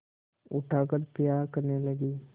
उठाकर प्यार करने लगी